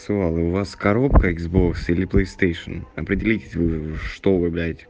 у вас коробка икс бокс или плейстейшн определитесь уже что